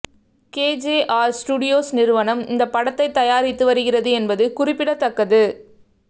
KJR Studios நிறுவனம் இந்த படத்தை தயாரித்து வருகிறது என்பது குறிப்பிடத்தக்கது